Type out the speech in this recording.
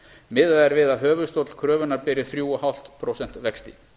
miðað er við að höfuðstóll kröfunnar beri þrjú og hálft prósent vexti